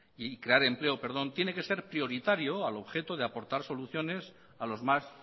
y crear empleo perdón tiene que ser prioritario al objeto de aportar soluciones a los más